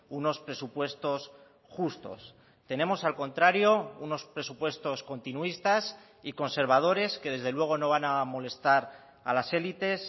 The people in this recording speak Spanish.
unos presupuestos justos tenemos al contrario unos presupuestos continuistas y conservadores que desde luego no van a molestar a las élites